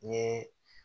N ye